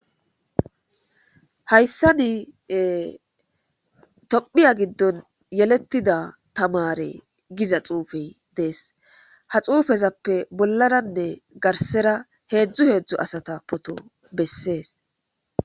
Hayssani tomphiya giddon yelettida tamare giza xuufey dees ha xuufezappe bollananne garsera heedzdzu heedzdzo asata poto bessees.